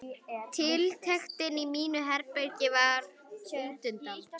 Tiltektin í mínu herbergi varð útundan.